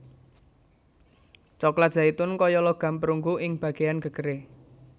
Coklat zaitun kaya logam perunggu ing bagéyan gegeré